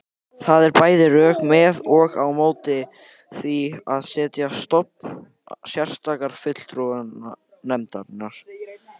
Það eru bæði rök með og á móti því að setja á stofn sérstakar fulltrúanefndir.